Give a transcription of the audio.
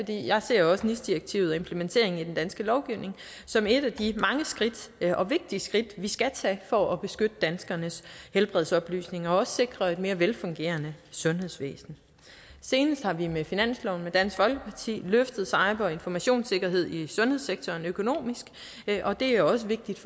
jeg ser jo også nis direktivet og implementeringen i den danske lovgivning som et af de mange skridt og vigtige skridt vi skal tage for at beskytte danskernes helbredsoplysninger og at sikre et mere velfungerende sundhedsvæsen senest har vi med finansloven sammen med dansk folkeparti løftet cyber og informationssikkerheden i sundhedssektoren økonomisk og det er også vigtigt